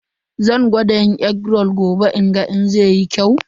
Zan gwada yin egg roll gobe in ga ko zai yi kyau.